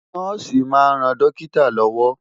Nọ́ọ̀sì máa ń ran dókítà lọ́wọ́.